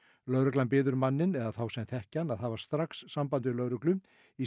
lögreglan biður manninn eða þá sem þekkja hann að hafa strax samband við lögreglu í